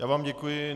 Já vám děkuji.